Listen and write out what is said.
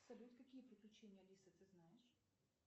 салют какие приключения алисы ты знаешь